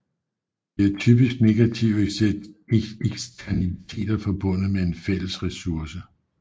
Der er typisk negative eksternaliteter forbundet med en fælles ressource